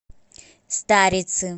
старицы